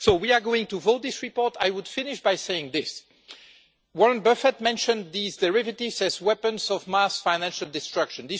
We are going to vote on this report, but I would finish by saying this Warren Buffett mentioned these derivatives as weapons of mass financial destruction.